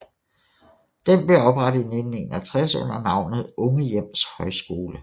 Den blev oprettet i 1961 under navnet Unge Hjems Højskole